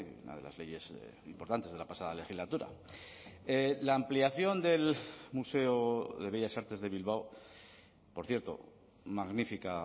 una de las leyes importantes de la pasada legislatura la ampliación del museo de bellas artes de bilbao por cierto magnífica